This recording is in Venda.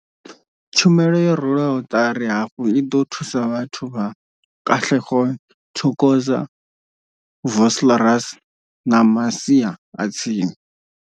Tshumelo yo rwelwaho ṱari hafhu i ḓo thusa vhathu vha Katlehong, Thokoza, Vosloorus na masia a tsini.